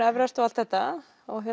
Everest og allt þetta